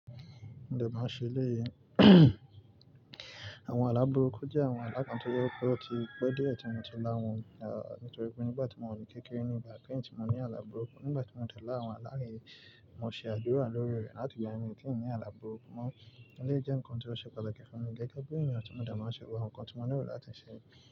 De ma nṣe léyí. Àwọn aláburuku jẹ́ àwọn alákan tí ó jẹ ó ti pẹ́ díẹ̀ tí mo ti lá wọn, ah, nítorí pé nígbà tí mò wa ni kékeré ní ìgbà kẹ́yin tí mò ní aláburuku nígbà tí mò dẹ̀ lá àwọn alá yen, mò ṣe àdúrà lórí rẹ̀ láti gba ẹ̀mí kí ń ní aláburuku. Mọ́-- ó lé jẹ́ nǹkan tí ó ṣe pàtàkì fún mi gẹ́gẹ́ bí ènìyàn tí mò de ma n ṣe gbogbo awọn nǹkan tí mò nílo láti ṣe.